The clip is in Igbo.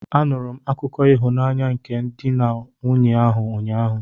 Anụrụ m akụkọ ịhụnanya nke ndị di na nwunye ahụ, ụnyaahụ